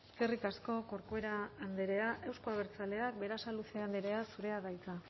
eskerrik asko corcuera andrea euzko abertzaleak berasaluze andrea zurea da hitza